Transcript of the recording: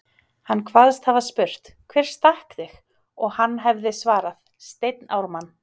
Hann kvaðst hafa spurt: Hver stakk þig? og hann hefði svarað: Steinn Ármann